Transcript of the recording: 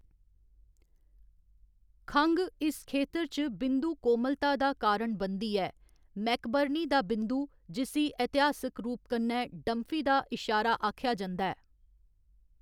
खंघ इस खेतर च बिंदु कोमलता दा कारण बनदी ऐ मैकबर्नी दा बिंदु, जिस्सी ऐतिहासिक रूप कन्नै डंफी दा इशारा आखेआ जंदा ऐ।